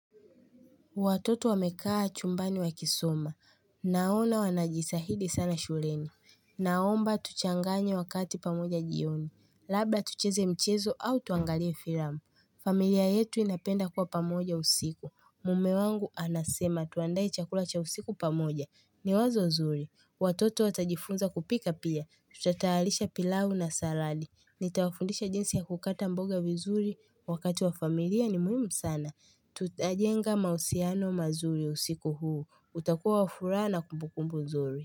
Watoto wamekaa chumbani wakisoma. Naona wanajisahidi sana shuleni. Naomba tuchanganye wakati pamoja jioni. Labda tucheze mchezo au tuangalie filamu. Familia yetu inapenda kuwa pamoja usiku. Mume wangu anasema tuande chakula cha usiku pamoja. Ni wazo nzuri. Watoto watajifunza kupika pia. Tutayalisha pilau na saradi. Nitawafundisha jinsi ya kukata mboga vizuri wakati wa familia ni muhimu sana. Tutajenga mausiano mazuri usiku huu. Utakuwa wafuraha na kumbukumbu nzuri.